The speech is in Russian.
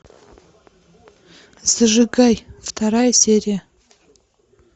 зажигай вторая серия